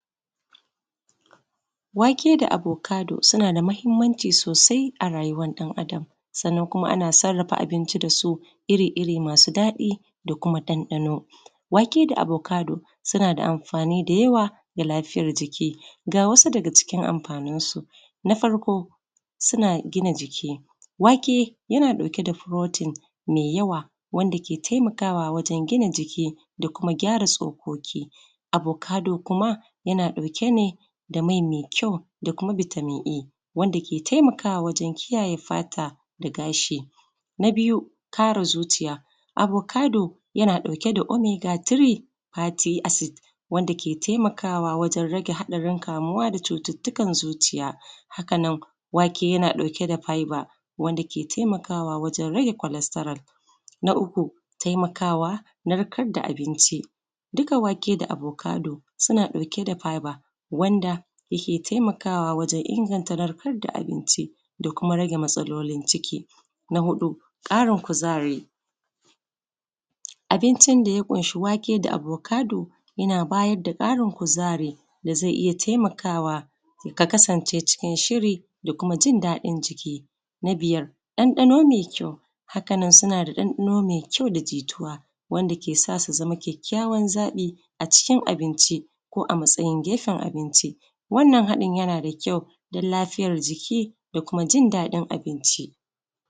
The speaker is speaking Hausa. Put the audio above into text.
wake da abokado suna da muhimmanci sosai a rayuwan ɗan adam sannan kuma ana sarrafa abinci da su iri iri masu daɗi da kuma ɗanɗano wake da abokado suna da amfani da yawa ga lafiyan jiki ga wasu daga cikin amfanin su na farko suna gina jiki wake yana ɗauke da protein mai yawa wanda ke taimakawa wajan gina jiki da kuma gyara tsokoki abokado kuma yana ɗauke ne da mai mai kyau da kuma vitamin e wanda ke taimakawa wajan kiyaye fata da gashi na biyu kare zuciya abokado yana ɗauke da omega three faty acid wanda ke taimakawa wajan rage haɗarin kamuwa da cututtukan zuciya haka nan wake yana ɗauke da fiber wanda ke taimakawa wajan rage kwalataral na uku taimakawa narkar da abinci duka wake da abokado suna ɗauke da fiber wanda yake taimakawa wajan inganta narkar da abinci da kuma rage matsalolin ciki na huɗu ƙarin kuzari abincin da ya ƙunshi wake da abokado yana bayar da ƙarin kuzari da zai iya taimakawa ka kasance cikin shiri da kuma jindaɗin jiki na biyar ɗanɗano mai kyau haka nan suna da ɗanɗano mai kyau da jituwa wanda ke sa su su zama kyakkyawar zaɓi a cikin abinci ko a matsayin gefen abinci wannan haɗin yana da kyau don lafiyar jiki da kuma jindaɗin abincin